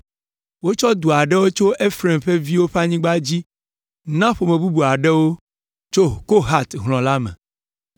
Wotsɔ du aɖewo tso Efraim ƒe viwo ƒe anyigba dzi na ƒome bubu aɖewo tso Kohat hlɔ̃ la me.